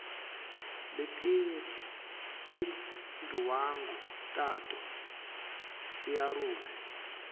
letinye tinduwangu tato tiarule